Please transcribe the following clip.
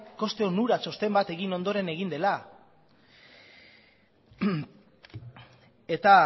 koste onura txosten bat egin ondoren egin dela eta